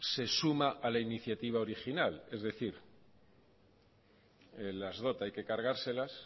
se suma a la iniciativa original es decir las dot hay que cargárselas